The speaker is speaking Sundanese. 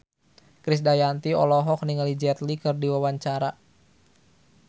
Krisdayanti olohok ningali Jet Li keur diwawancara